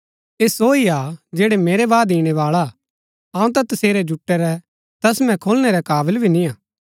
ऐह सो ही हा जैडा मेरै बाद ईणैबाळा हा अऊँ ता तसेरै जुटै रै तस्मै खोलनै रै काबल भी नियां